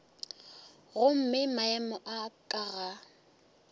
gomme maemo a ka ga